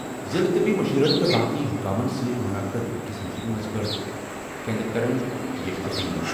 ضِلعہٕ طِبی مُشیرن تہٕ باقٕے حُکامن سۭتۍ مُنعقد أکِس میٖٹنٛگس منٛز کٔر کیندریکرَن یہِ اپیل۔